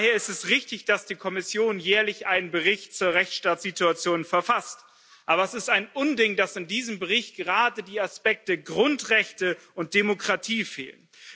Daher ist es richtig, dass die Kommission jährlich einen Bericht zur Rechtsstaatsituation verfasst, aber es ist ein Unding, dass in diesem Bericht gerade die Aspekte Grundrechte und Demokratie fehlen.